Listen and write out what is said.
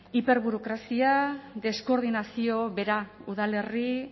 hiperburokrazia deskoordinazio bera udalerri